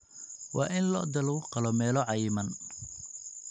Waa in lo'da lagu qalo meelo cayiman.